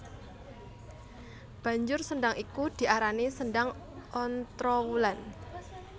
Banjur sendhang iku diarani Sendhang Ontrowulan